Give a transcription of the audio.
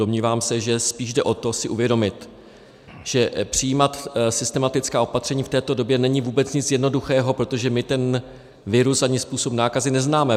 Domnívám se, že spíš jde o to si uvědomit, že přijímat systematická opatření v této době není vůbec nic jednoduchého, protože my ten virus ani způsob nákazy neznáme.